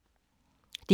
DR K